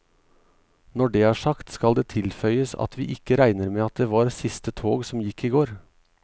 Når det er sagt, skal det tilføyes at vi ikke regner med at det var siste tog som gikk i går.